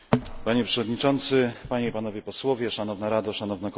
Makroregion wymaga skoordynowanej polityki zrównoważonego rozwoju.